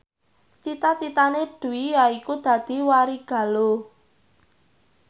cita citane Dwi yaiku dadi warigaluh